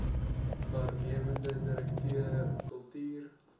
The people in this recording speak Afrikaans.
waarnemende direkteur kultuur